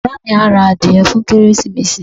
Bàbá mi á ra adìẹ fún Kérésìmesì.